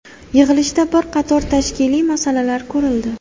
Yig‘ilishda bir qator tashkiliy masalalar ko‘rildi.